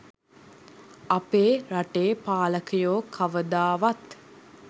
අපේ රටේ පාලකයෝ කවදාවත්